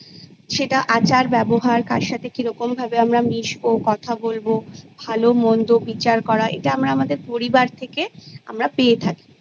সেটা আচার ব্যবহার কার সাথে কিরকম ভাবে আমরা মিশবো কথা বলবো ভালো মন্দ বিচার করা ইটা আমরা আমাদের পরিবার থেকে আমরা পেয়ে থাকি